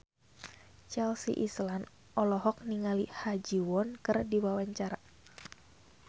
Chelsea Islan olohok ningali Ha Ji Won keur diwawancara